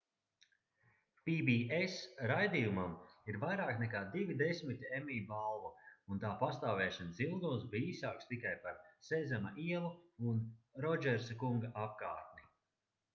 pbs raidījumam ir vairāk nekā divi desmiti emmy balvu un tā pastāvēšanas ilgums bija īsāks tikai par sezama ielu un rodžersa kunga apkārtni